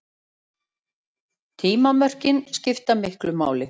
Tímamörkin skipta miklu máli.